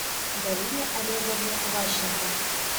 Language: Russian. галине олеговне ващенко